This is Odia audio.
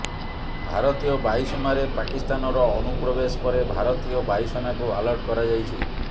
ଭାରତୀୟ ବାୟୁସୀମାରେ ପାକିସ୍ତାନର ଅନୁପ୍ରବେଶ ପରେ ଭାରତୀୟ ବାୟୁସେନାକୁ ଆଲର୍ଟ କରାଯାଇଛି